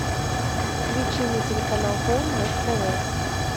включи мне телеканал хоум на тв